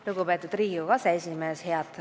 Lugupeetud Riigikogu aseesimees!